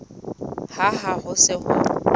hang ha ho se ho